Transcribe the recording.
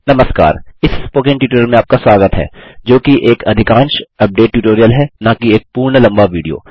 नमस्कार इस spoken tutorial में आपका स्वागत है जोकि एक अधिकांश अपडेट ट्यूटोरियल है नाकि एक पूर्ण लम्बा विडियो